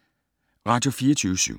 Radio24syv